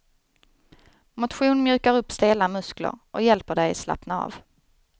Motion mjukar upp stela muskler och hjälper dig slappna av.